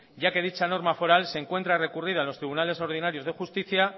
ya que dicha norma foral se encuentra recurrida en los tribunales ordinarios de justicia